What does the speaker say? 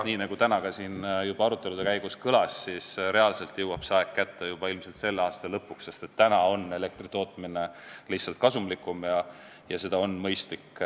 Nii nagu täna siin juba arutelude käigus kõlas, reaalselt jõuab see aeg kätte juba selle aasta lõpuks, sest nii on lihtsalt kasumlikum ja seda on mõistlik teha.